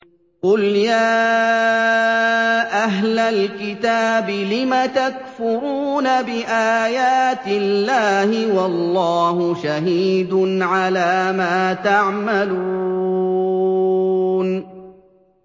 قُلْ يَا أَهْلَ الْكِتَابِ لِمَ تَكْفُرُونَ بِآيَاتِ اللَّهِ وَاللَّهُ شَهِيدٌ عَلَىٰ مَا تَعْمَلُونَ